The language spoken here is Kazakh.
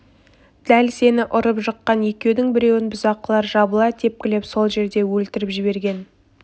дәл сені ұрып-жыққан екеудің біреуін бұзақылар жабыла тепкілеп сол жерде өлтіріп жіберген